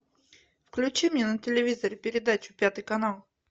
включи мне на телевизоре передачу пятый канал